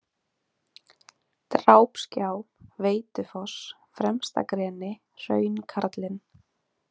Drápsgjá, Veitufoss, Fremstagreni, Hraunkarlinn